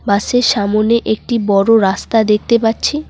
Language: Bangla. পাশে সামনে একটি বড় রাস্তা দেখতে পাচ্ছি।